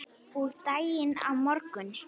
Og daginn á morgun.